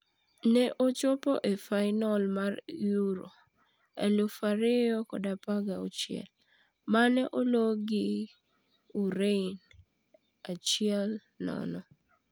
Ne ochopi e fainol mar Euro 2016, mane ologi gi Ureno 1-0.